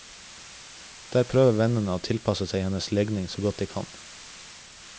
Der prøver vennene å tilpasse seg hennes legning så godt de kan.